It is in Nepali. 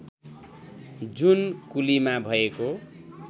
जुन कुलीमा भएको